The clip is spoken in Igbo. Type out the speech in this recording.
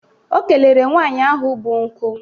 O kelere nwaanyị ahụ bụ nkụ.